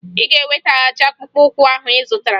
Ị ga-eweghachi akpụkpọụkwụ ahụ ị zụtara!